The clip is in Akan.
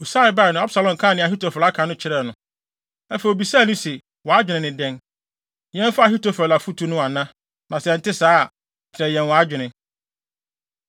Husai bae no, Absalom kaa nea Ahitofel aka no kyerɛɛ no. Afei obisaa no se, “Wʼadwene ne dɛn? Yɛmfa Ahitofel afotu no ana? Na sɛ ɛnte saa a, kyerɛ yɛn wʼadwene.”